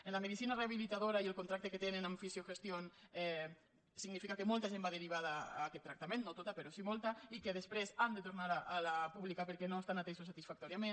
en la medicina rehabilitadora el contracte que tenen amb fisiogestión significa que molta gent va derivada a aquest tractament no tota però sí molta i que després han de tornar a la pública perquè no estan atesos satisfactòriament